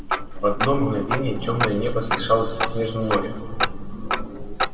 в одно мгновение тёмное небо смешалось со снежным морем